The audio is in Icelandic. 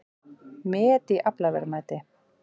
Met í aflaverðmæti